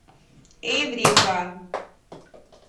эврика